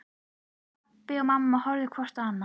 Pabbi og mamma horfðu hvort á annað.